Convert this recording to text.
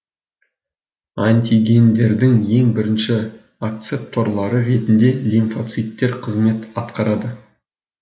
антигендердің ең бірінші акцепторлары ретінде лимфоциттер қызмет атқарады